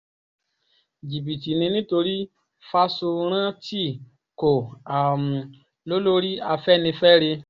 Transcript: jìbìtì ni nítorí fásórántì kò um lólórí afẹ́nifẹ́re